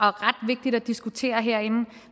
er ret vigtigt at diskutere herinde